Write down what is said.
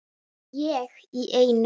Ég í einu.